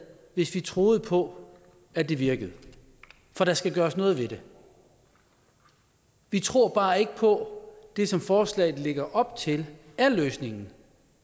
hvis vi troede på at det virkede for der skal gøres noget ved det vi tror bare ikke på at det som forslaget lægger op til er løsningen